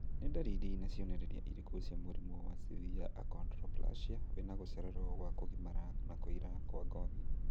Nĩ ndariri na cionereria irĩkũ cia mũrimũ wa Severe achondroplasia wĩna gũcererwo gwa kũgimara na kũira kwa ngothi